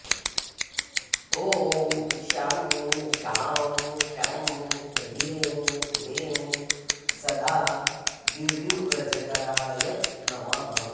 ॐ शं शां षं ह्रीं क्लीं सदा गिरिव्रजकराय नमः